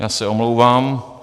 Já se omlouvám.